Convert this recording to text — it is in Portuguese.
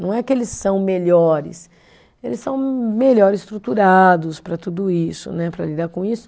Não é que eles são melhores, eles são melhor estruturados para tudo isso né, para lidar com isso.